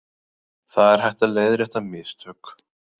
Það er hægt að leiðrétta mistök